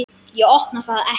Ég opna það ekki.